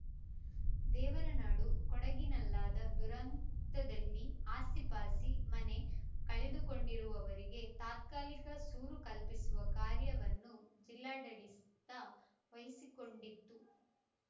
ದೇವರ ನಾಡು ಕೊಡಗಿನಲ್ಲಾದ ದುರಂತದಲ್ಲಿ ಆಸ್ತಿಪಾಸ್ತಿ ಮನೆ ಕಳೆದುಕೊಂಡಿರುವವರಿಗೆ ತಾತ್ಕಾಲಿಕ ಸೂರು ಕಲ್ಪಿಸುವ ಕಾರ್ಯವನ್ನು ಜಿಲ್ಲಾಡಳಿತ ವಹಿಸಿಕೊಂಡಿತ್ತು